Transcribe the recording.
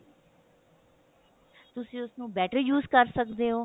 ਤੁਸੀਂ ਉਸਨੂੰ better use ਕਰ ਸਕਦੇ ਹੋ